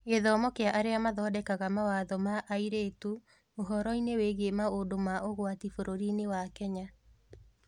Gĩthomo kĩa arĩa mathondekaga mawatho na Airĩtu ũhoro-inĩ wĩgiĩ maũndũ ma ũgwati bũrũriinĩ wa Kenya